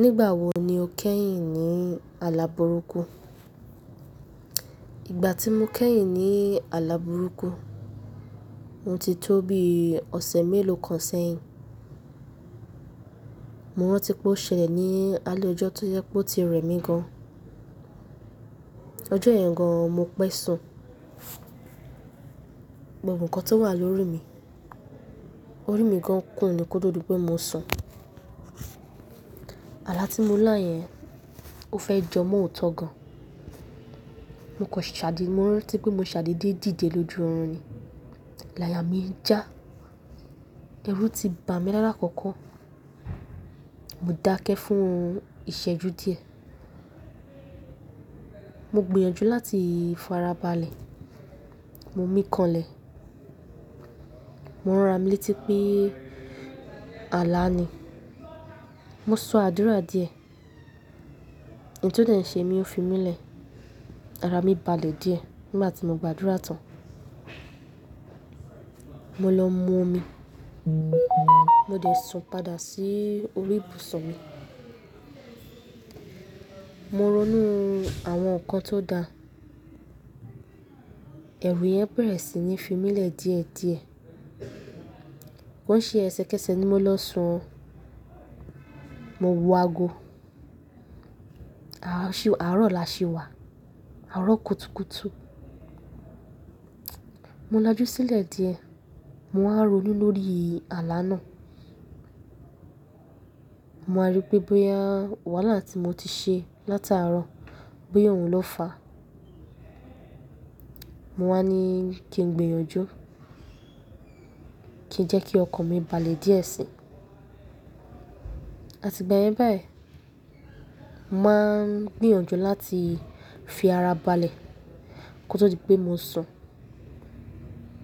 Nígbà wo ni o kẹ́yìn ní ala burúkú? Ìgbà tí mo kẹ́yìn ní ala burúkú, mo ti tó bí ọ̀sẹ̀ mélòó kan sẹ́yìn. Mo rántí pé ó ṣẹlẹ̀ ní alẹ́ ọjọ́ tó jẹ́ pé ó ti rẹ̀ mí gan. Ọjọ́ yẹn gan, mo pẹ́ sùn, gbogbo nǹkan tó wà lórí mi, orí mi gan kún ni kótó di pé mo sùn. Àlá tí mo lá yẹn, ó fẹ́ jọ mo òótọ́ gan. Mo kàn ṣàdí, mo rántí pé mo ṣàdédé dìde lójú oorun ni. Láyà mi ń já, ẹ̀rù ti bà mí lála kọ̀kọ̀. Mo dákẹ́ fún ìṣẹ́jú díẹ̀. Mo gbìyànjú láti fara balẹ̀. Mo mí kanlẹ̀. Mo rán ra mi létí pé àlá ni. Mo sọ àdúrà díẹ̀. Òun tó dẹ̀ ń ṣe mí ó fi mí lẹ̀. Ara mi balẹ̀ díẹ̀. Nígbà tí mo gba àdúrà tán. Mo lọ mú omi, mo dẹ̀ sun padà sí orí ibùsùn mi. Mo ronú àwọn nǹkan tó da. Ẹ̀rù yẹn bẹ̀rẹ̀ sí ní fi mí lẹ̀ díẹ̀díẹ̀. Kọ́ ń ṣe ẹsẹkẹsẹ ni mo lọ sun o. Mo wo ago. Àárọ̀ làṣi wà, àárọ̀ kùtùkùtù. Mo lajú sílẹ̀ díẹ̀. Mo wá ń ronú lórí àlá náà. Mo wá rí pé bóyá wàhálà tí mo ti ṣe látàárọ̀, bóyá òun ló fà á. Mo wá ní kí n gbìyànjú, kí n jẹ́ kí ọkàn mi balẹ̀ díẹ̀ sí i. Àti ìgbà yẹn báyìí, mo máa ń gbìyànjú láti fi ara balẹ̀ kó tó di pé mo sùn.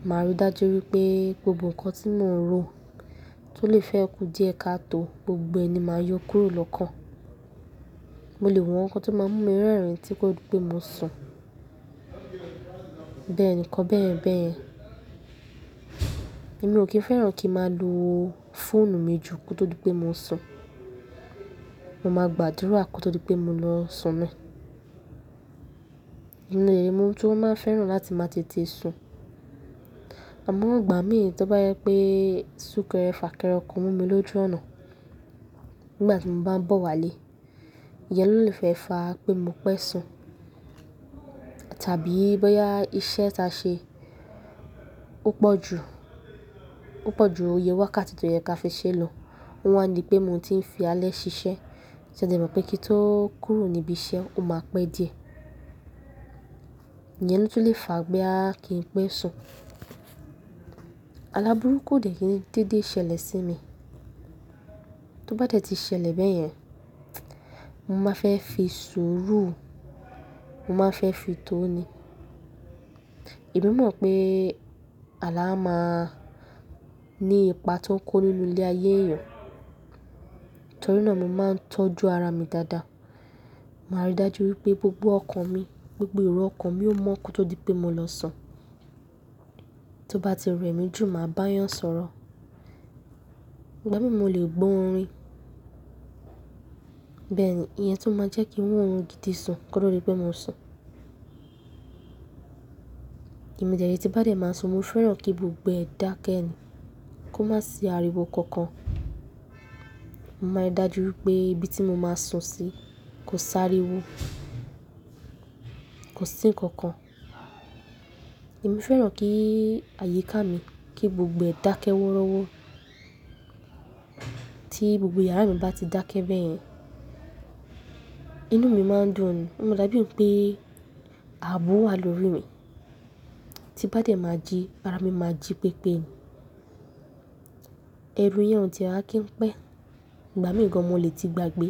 Màá rí dájú wípé gbogbo nǹkan tí mò ń ro tó lè fẹ́ kú díẹ̀ ká tó, gbogbo ẹ̀ ni màá yó kúrò lọ́kàn. Mo lè wo nǹkan tó máa ń mú mi rẹ́rìn-ín tí kò tó di pé mo sùn. Bẹ́ẹ̀ ni kọ́ bẹ́ẹ̀ bẹ́ẹ̀. Èmi ò kí ń fẹ́ràn kí n máa lo fóònù mi jù kó tó di pé mo sùn. Mo máa gba àdúrà kó tó di pé mo lọ sùn ni. Èyí ni èèyí tí ó máa ń fẹ́ràn láti máa tètè sùn. Àmọ́ òǹ gbà mí tó bá yẹ pé súkẹrẹ fà kẹ́ẹ́rẹ́ ọkọ mú mi lójú ọ̀nà nígbà tí mo bá ń bọ̀ wálé. Ìyẹn ló lè fẹ́ fà á pé mo pẹ́ sùn. Tàbí bóyá iṣẹ́ tá ṣe ó pọ̀ jù, ó pọ̀ jù oyè wákàtí tó yẹ ká fi ṣe lọ. Ó wá ń dí pé mò ń ti ń fi alẹ́ ṣiṣẹ́. Ṣé ẹde mọ̀ pé kí n tó kúrò níbi iṣẹ́, ó máa pẹ́ díẹ̀. Ìyẹn ló tún lè fà á pé bóyá kí n pẹ́ sùn. Àlá burúkú ò dè kí n dédé ṣẹlẹ̀ sí mi. Tó bá dẹ́ti ṣẹlẹ̀ bẹ́yẹn, mo máa fẹ́ fi sùúrù, mo máa fẹ́ fi tó ni. Èmí mò ń mọ̀ pé àlá máa ní ipa tó ń kó nínú ilé ayé èèyàn. Nítorí náà mo máa ń tọ́jú ara mi dáadáa. Màá rí dájú wípé gbogbo ọkàn mi, gbogbo ẹ̀rọ ọkàn mi ó mọ́ kó tó di pé mo lọ sùn. Tó bá ti rẹ̀ mí jù, màá bá a yàn sọ̀rọ̀. Ìgbà mìíràn mo lè gbọ́ orin. Bẹ́ẹ̀ ni ìyẹn tún máa ń jẹ́ kí n rí oorun gidi sùn kó tó di pé mo sùn. Èmi dẹ̀ rẹ tí n bá dẹ̀ máa sùn, mo fẹ́ràn kí gbogbo ẹ̀ dákẹ́ ẹni. Kó má sì ariwo kankan. Mo máa rí dájú wípé ibi tí mo máa sùn sí kò sáriwo, kò sí nǹkan kan. Èmi fẹ́ràn kí àyíká mi, kí gbogbo ẹ̀ dákẹ́ wórọ́wọ́. Tí gbogbo yàrá mi bá ti dákẹ́ bẹ́yẹn, inú mi máa ń dùn ni. Ó máa dá bí i pé ààbò wà lórí mi. Tí n bá dẹ́ máa jí, ara mi máa jí pépé ni. Ẹ̀rù yẹn ò ti e wá kí n pẹ́. Ìgbà mìíràn mo lè ti gbàgbé.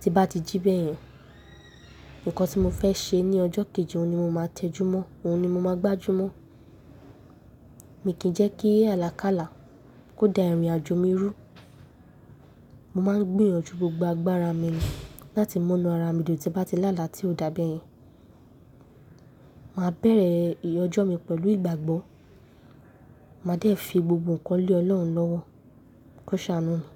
Tí n bá ti jí bẹ́yẹn, nǹkan tí mo fẹ́ ṣe ní ọjọ́ kejì, òun ni mo máa tẹjúmọ́, òun ni mo máa gbájúmọ́. Èmi kì í jẹ́ kí àlákálà kó da ìrìnàjò mi rú. Mo máa ń gbìyànjú gbogbo agbára mi láti múnú ara mi dùn tí bá ti lála tí ó dà bẹ́yẹn. Màá bẹ̀rẹ̀ ìrìn ọjọ́ mi pẹ̀lú ìgbàgbọ́. Màá dẹ̀ fi gbogbo nǹkan lé Ọlọ́run lọ́wọ́ kó ṣàánú mi.